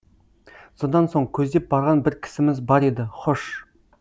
содан соң көздеп барған бір кісіміз бар еді хош